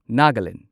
Nagaland